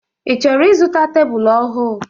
I chọrọ izụta tebụl ọhụụ?